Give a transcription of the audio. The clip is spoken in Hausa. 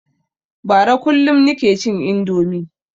Bara kullum nike cin indomi